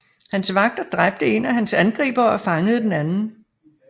Hans vagter dræbte en af hans angribere og fangede den anden